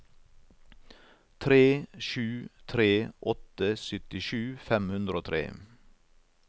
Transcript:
tre sju tre åtte syttisju fem hundre og tre